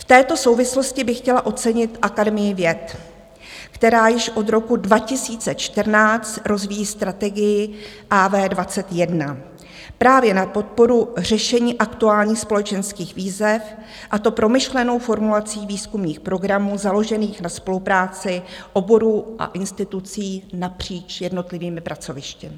V této souvislosti bych chtěla ocenit Akademii věd, která již od roku 2014 rozvíjí Strategii AV21 právě na podporu řešení aktuálních společenských výzev, a to promyšlenou formulací výzkumných programů založených na spolupráci oborů a institucí napříč jednotlivými pracovišti.